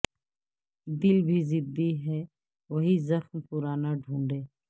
دل بھی ضدی ہے وہی زخم پرانا ڈھونڈے